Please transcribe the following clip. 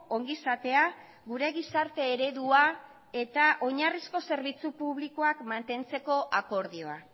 ongizatea gure gizarte eredua eta oinarrizko zerbitzu publikoak mantentzeko akordioa